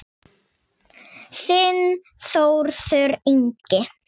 Þinn Þórður Ingi.